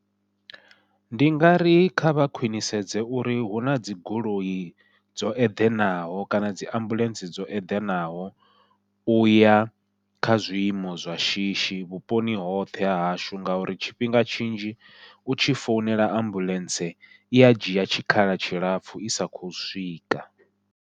Ndi nga ri kha vha khwiṋisedze uri hu nadzi goloi dzo eḓanaho kana dzi ambuḽentse dzo eḓanaho, uya kha zwiimo zwa shishi vhuponi hoṱhe hahashu ngauri tshifhinga tshinzhi u tshi founela ambuḽentse ia dzhia tshikhala tshilapfhu i sa khou swika.